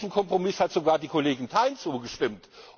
Und diesem Kompromiss hat sogar die Kollegin Thein zugestimmt.